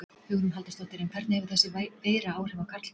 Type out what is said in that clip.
Hugrún Halldórsdóttir: En hvernig hefur þessi veira áhrif á karlmenn?